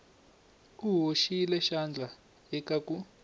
u hoxile xandla eka ku